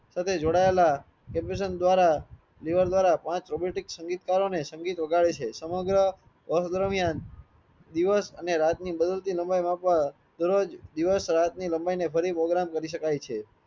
સાથે જોડાયેલા દ્વારા દ્વારા પાંચ રોબોટિક સંગીતકારો ને સંગીત વગાડે છે સમગ્ર દરમિયાન દિવસ અને રાત ની લામ્બિયા માપવા દરોજ દિવસ રાત ની લામ્બિયા ને ફરી program કરી શકાય છે